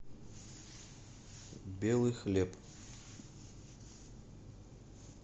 белый хлеб